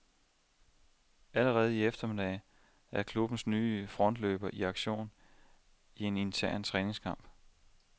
Allerede i eftermiddag er klubbens nye frontløber i aktion i en intern træningskamp.